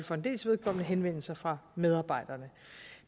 for en dels vedkommende henvendelser fra medarbejderne